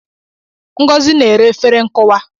Ngọzi na-ere efere nkụwa